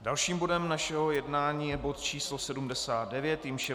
Dalším bodem našeho jednání je bod číslo 79, jímž je